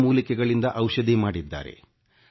ಗಿಡ ಮೂಲಿಕೆಗಳಿಂದ ಔಷಧಿ ಮಾಡಿದ್ದಾರೆ